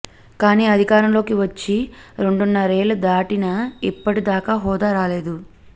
కానీ అధికారంలోకి వచ్చి రెండున్నరేళ్లు దాటినా ఇప్పటి దాకా హోదా రాలేదు